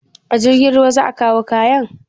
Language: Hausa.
A jirgin ruwa za a kawo kayan?